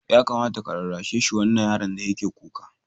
Ya kamata ka rarrashi wannan yaron da yake kuka.